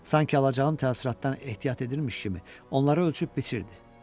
Sanki alacağım təəssüratdan ehtiyat edirmiş kimi onlara ölçüb biçirdi.